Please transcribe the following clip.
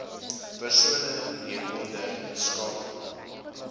persone hieronder skakel